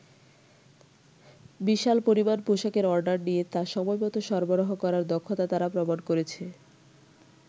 বিশাল পরিমাণ পোশাকের অর্ডার নিয়ে তা সময়মত সরবরাহ করার দক্ষতা তারা প্রমাণ করেছে।